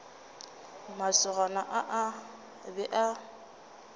masogana a a be a